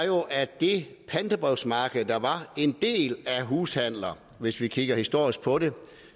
at det pantebrevsmarked der var en del af hushandler hvis vi kigger historisk på det